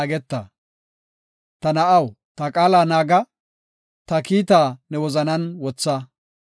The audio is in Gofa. Ta na7aw, ta qaala naaga; ta kiitaa ne wozanan wotha.